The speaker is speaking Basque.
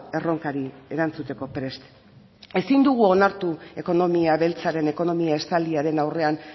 erronkari erantzuteko prest ezin dugu onartu ekonomia beltzaren ekonomia estaliaren aurrean